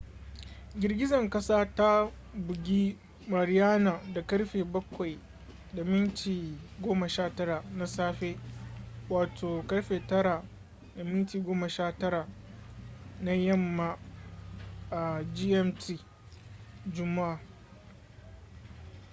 girgizan kasa ta bugi mariana da karfe 07:19 na safe 09:19 p.m. gmt juma’a